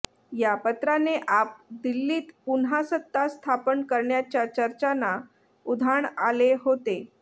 या पत्राने आप दिल्लीत पुन्हा सत्ता स्थापन करण्याच्या चर्चांना उधाण आले होते